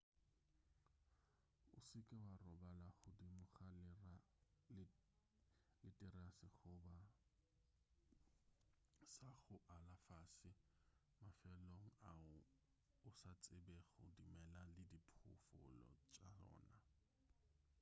o se ke wa robala godimo ga leterase goba sa go ala fase mafelong ao o sa tsebego dimela le diphoofolo tša ona